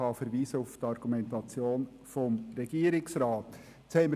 Dazu kann ich auf die Argumentation des Regierungsrats verweisen.